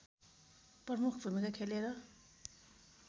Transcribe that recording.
प्रमुख भूमिका खेलेर